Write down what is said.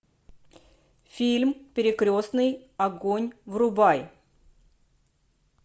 фильм перекрестный огонь врубай